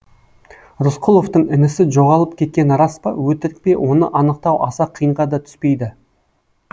рысқұловтың інісі жоғалып кеткені рас па өтірік пе оны анықтау аса қиынға да түспейді